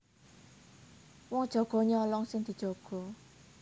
Wong jaga nyolong sing dijaga